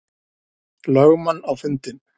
lögmann á fundinn.